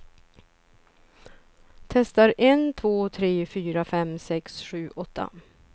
Testar en två tre fyra fem sex sju åtta.